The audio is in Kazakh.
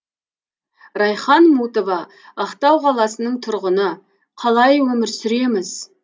райхан мутова ақтау қаласының тұрғыны қалай өмір сүреміз